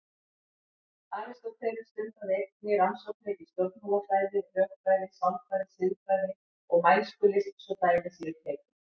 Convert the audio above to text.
Aristóteles stundaði einnig rannsóknir í stjórnmálafræði, rökfræði, sálfræði, siðfræði og mælskulist svo dæmi séu tekin.